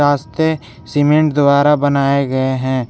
रास्ते सीमेंट द्वारा बनाए गए हैं।